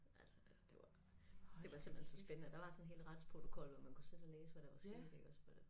Altså det var det var simpelthen så spændende der var sådan en hel retsprotokol hvor man kunne sidde og læse hvad der var sket iggås men øh